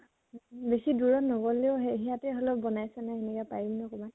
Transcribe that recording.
বেছি দুৰত নগলেও সেই সিহতে হলেও বনাইছে ন হেনেকে পাৰিম ন কবাত?